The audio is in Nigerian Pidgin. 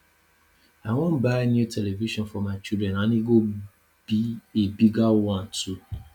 i wan buy new television for my children and e go be a bigger one too